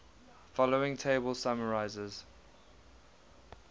following table summarizes